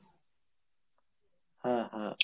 হ্যাঁ হ্যাঁ